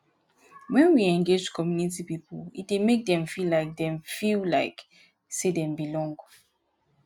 when we engage community pipo e dey make dem feel like dem feel like sey dem belong